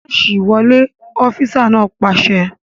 Máàṣì wọlé! Ọfísà náà pàṣẹ